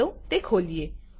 ચાલો તે ખોલીએ